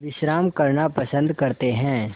विश्राम करना पसंद करते हैं